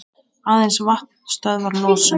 Aðeins vatn stöðvar losun.